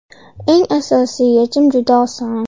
Eng asosiy yechim juda oson.